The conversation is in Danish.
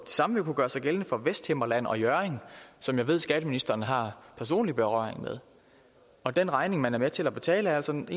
samme kunne gøre sig gældende for vesthimmerland og hjørring som jeg ved at skatteministeren har personlig berøring med og den regning man er med til at betale er altså en